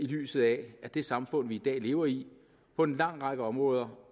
lyset af at det samfund vi i dag lever i på en lang række områder